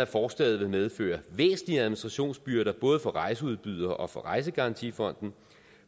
at forslaget vil medføre væsentlige administrationsbyrder både for rejseudbydere og for rejsegarantifonden